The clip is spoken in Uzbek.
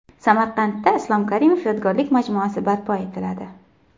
Samarqandda Islom Karimov yodgorlik majmuasi barpo etiladi.